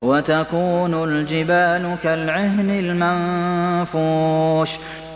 وَتَكُونُ الْجِبَالُ كَالْعِهْنِ الْمَنفُوشِ